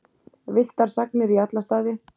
Villtar sagnir í alla staði.